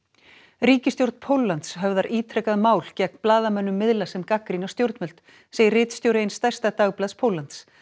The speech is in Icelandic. ríkisstjórn Póllands höfðar ítrekað mál gegn blaðamönnum miðla sem gagnrýna stjórnvöld segir ritstjóri eins stærsta dagblaðs Póllands